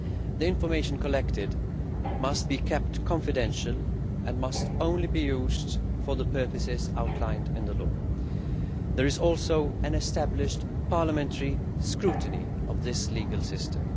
The information collected must be kept confidential and must only be used for the purposes outlined in the law. There is also established parliamentary scrutiny of this legal system.